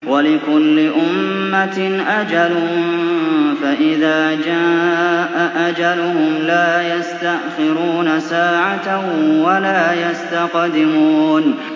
وَلِكُلِّ أُمَّةٍ أَجَلٌ ۖ فَإِذَا جَاءَ أَجَلُهُمْ لَا يَسْتَأْخِرُونَ سَاعَةً ۖ وَلَا يَسْتَقْدِمُونَ